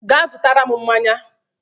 Ga zụtara m mmanya